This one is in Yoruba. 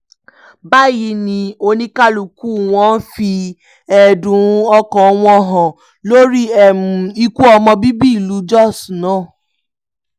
báyìí ni oníkálukú wọn fi ẹ̀dùn ọkàn wọn hàn lórí ikú ọmọ bíbí ìlú jóṣ náà